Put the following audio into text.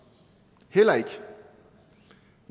heller ikke